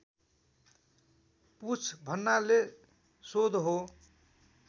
पुछ भन्नाले सोध हो